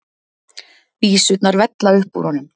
Vísurnar vella upp úr honum.